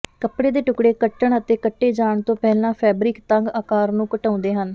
ਕੱਪੜੇ ਦੇ ਟੁਕੜੇ ਕੱਟਣ ਅਤੇ ਕੱਟੇ ਜਾਣ ਤੋਂ ਪਹਿਲਾਂ ਫੈਬਰਿਕ ਤੰਗ ਆਕਾਰ ਨੂੰ ਘਟਾਉਂਦੇ ਹਨ